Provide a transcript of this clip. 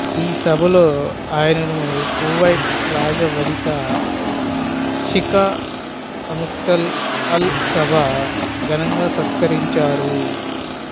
ఈ సభలో ఆయనను కువైట్ రాజవనిత షీఖా ఆమ్తల్ అల్ల్ సభా ఘనంగా సత్కరించారు